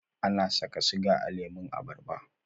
Ana saka siga a lemun abarba?